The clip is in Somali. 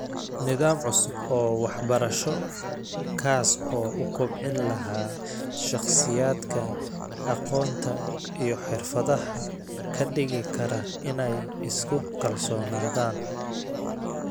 Nidaam cusub oo waxbarasho kaas oo u kobcin lahaa shakhsiyaadka aqoonta iyo xirfadaha ka dhigi kara inay isku kalsoonaadaan.